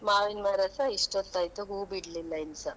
ಮಾವಿನ್ ಮರಸ ಇಷ್ಟು ಹೊತ್ತಾಯಿತು ಹೂ ಬಿಡ್ಲಿಲ್ಲ ಇನ್ಸಾ.